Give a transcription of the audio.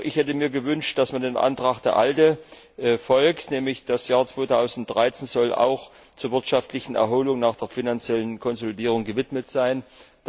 Ich hätte mir gewünscht, dass man dem Antrag der ALDE folgt, wonach das Jahr 2013 auch der wirtschaftlichen Erholung nach der finanziellen Konsolidierung gewidmet sein soll.